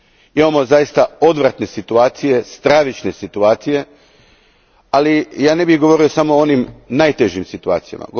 Imamo zaista odvratne situacije, stravične situacije, ali ja ne bih govorio samo o onim najtežim situacijama.